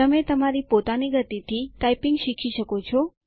તમે તમારી પોતાની ગતિ થી ટાઈપીંગ શીખી શકો છો